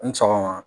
Ni sɔgɔma